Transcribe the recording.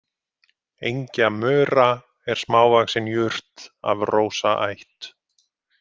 Engjamura er smávaxin jurt af rósaætt.